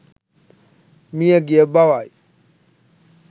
මියගිය බවයි